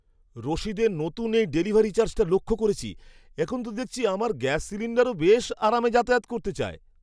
রসিদে নতুন এই ডেলিভারি চার্জটা লক্ষ করেছি। এখন তো দেখছি আমার গ্যাস সিলিণ্ডারও বেশ আরামে যাতায়াত করতে চায়!